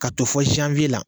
Ka don fɔ Zanwiye la